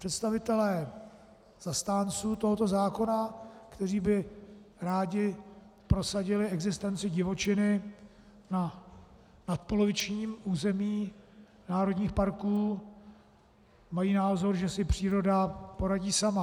Představitelé zastánců tohoto zákona, kteří by rádi prosadili existenci divočiny na nadpolovičním území národních parků, mají názor, že si příroda poradí sama.